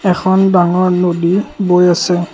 এখন ডাঙৰ নদী বৈ আছে।